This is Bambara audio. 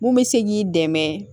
Mun bɛ se k'i dɛmɛ